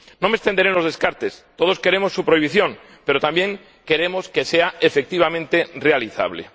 No me extenderé en los descartes, todos queremos su prohibición, pero también queremos que sea efectivamente realizable.